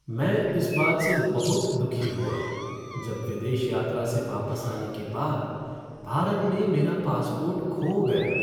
मैं इस बात से बहुत दुखी हुआ जब विदेश यात्रा से वापस आने के बाद भारत में मेरा पासपोर्ट खो गया।